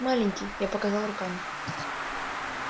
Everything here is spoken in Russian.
маленький я показал руками